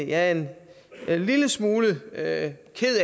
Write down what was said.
er en lille smule ked af